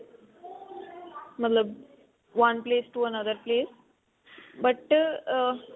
ਮਤਲਬ one place to another place but uh